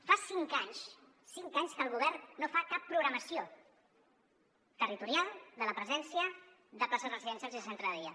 fa cinc anys cinc anys que el govern no fa cap programació territorial de la presència de pla·ces residencials i de centres de dia